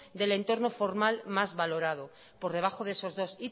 del entorno formal más valorado por debajo de esos dos